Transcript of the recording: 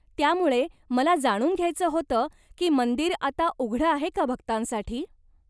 त्यामुळे मला जाणून घ्यायचं होतं की मंदिर आता उघडं आहे का भक्तांसाठी.